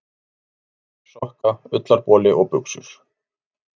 Teygjur, sokka, ullarboli og buxur.